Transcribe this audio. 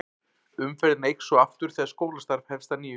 Umferðin eykst svo aftur þegar skólastarf hefst að nýju.